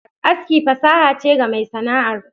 Aski fasaha che ga mai Sana'ar.